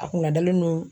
A kunna dalen don